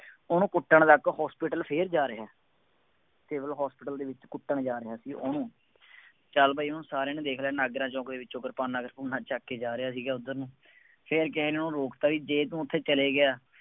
ਉਹਨੂੰ ਕੁੱਟਣ ਤੱਕ hospital ਫੇਰ ਜਾ ਰਿਹਾ, ਜਦੋਂ hospital ਦੇ ਵਿੱਚ ਕੁੱਟਣ ਜਾ ਰਿਹਾ ਸੀ ਉਹਨੂੰ, ਚੱਲ ਭਾਈ ਉਹਨੂੰ ਸਾਰਿਆਂ ਨੇ ਦੇਖ ਲਿਆ, ਨਾਗਰਾ ਚੌਂਕ ਦੇ ਵਿੱਚੋਂ ਕਿਰਪਾਨਾਂ ਕਿਰਪੂਨਾਂ ਚੱਕ ਕੇ ਜਾ ਰਿਹਾ ਸੀਗਾ ਉੱਧਰ ਨੂੰ, ਫੇਰ ਕਿਸੇ ਨੇ ਉਹ ਰੋਕਤਾ ਜੇ ਤੂੰ ਉੱਥੇ ਚੱਲਿਆਂ ਗਿਆ,